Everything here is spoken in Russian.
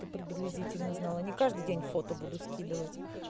ты приблизительно знала не каждый день фото буду скидывать